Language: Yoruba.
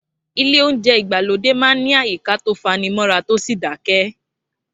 Ilé oúnjẹ ìgbàlódé máa ń ní àyíká tó fanimọ́ra tó sì dákẹ́